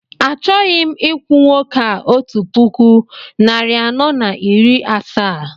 Achọghị m ikwu nwoke a otu puku, narị anọ na iri asaa